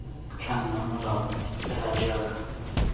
tla nna molao fela jaaka